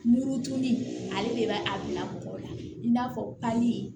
Muru tuguni ale de bɛ a bila mɔgɔ la i n'a fɔ kali